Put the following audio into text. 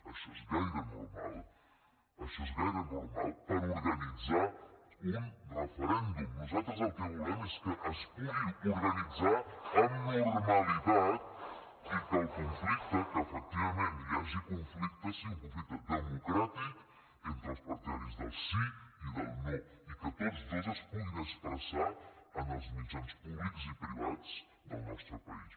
això és gaire normal això és gaire normal per organitzar un referèndum nosaltres el que volem és que es pugui organitzar amb normalitat i que el conflicte que efectivament hi hagi conflicte sigui un conflicte democràtic entre els partidaris del sí i del no i que tots dos es puguin expressar en els mitjans públics i privats del nostre país